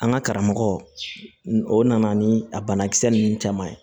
An ka karamɔgɔ o nana ni a banakisɛ ninnu caman ye